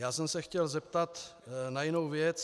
Já jsem se chtěl zeptat na jinou věc.